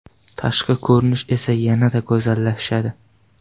Tashqi ko‘rinish esa yanada go‘zallashadi.